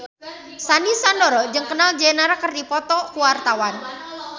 Sandy Sandoro jeung Kendall Jenner keur dipoto ku wartawan